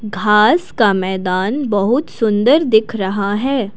घास का मैदान बहुत सुंदर दिख रहा है।